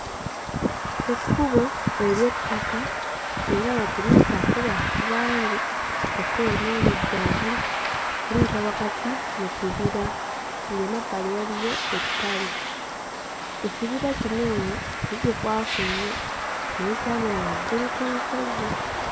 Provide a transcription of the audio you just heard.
Ekkubo ery'ettaka era nga teriyisaako bantu bangi. Ekkubo ly'eno ggazi, liyita wakati mu kibira ng'emabbali waliyo ettale. Ekibira kino eno si kikwafu nnyo naye kyamera waggulu ku lusozi.